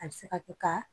A bɛ se ka kɛ ka